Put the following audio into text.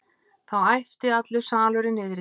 Þá æpti allur salurinn niðri.